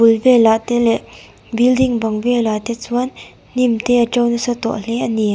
a bul velah te leh building bang velah te chuan hnim te a to nasa tawh hle ani.